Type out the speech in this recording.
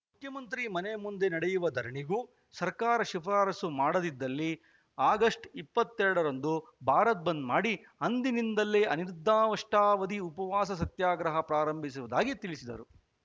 ಮುಖ್ಯಮಂತ್ರಿ ಮನೆ ಮುಂದೆ ನಡೆಯುವ ಧರಣಿಗೂ ಸರ್ಕಾರ ಶಿಫಾರಸು ಮಾಡದಿದ್ದಲ್ಲಿ ಆಗಸ್ಟ್ ಇಪ್ಪತ್ತ್ ಎರಡರಂದು ಭಾರತ್‌ ಬಂದ್‌ ಮಾಡಿ ಅಂದಿನಿಂದಲೇ ಅನಿರ್ದಿಷ್ಟಾವಧಿ ಉಪವಾಸ ಸತ್ಯಾಗ್ರಹ ಪ್ರಾರಂಭಿಸುವುದಾಗಿ ತಿಳಿಸಿದರು